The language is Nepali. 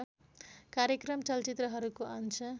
कार्यक्रम चलचित्रहरूको अंश